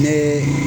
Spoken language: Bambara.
Ne